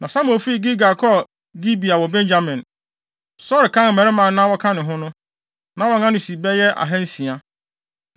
Na Samuel fii Gilgal kɔɔ Gibea wɔ Benyamin. Saulo kan mmarima a na wɔka ne ho no, na wɔn ano si bɛyɛ ahansia.